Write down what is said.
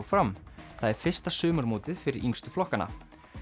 fram það er fyrsta sumarmótið fyrir yngstu flokkana